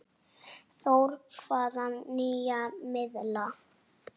Þór: Hvaða nýja miðla?